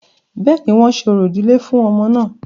Bẹ́ẹ̀ni, wọ́n ṣe orò ìdílé fún ọmọ náà